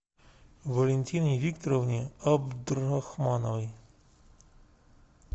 валентине викторовне абдрахмановой